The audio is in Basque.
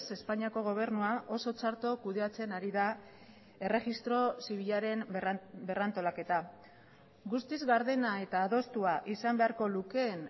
espainiako gobernua oso txarto kudeatzen ari da erregistro zibilaren berrantolaketa guztiz gardena eta adostua izan beharko lukeen